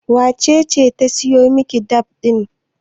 wacece ta siyo Miki fad ɗin?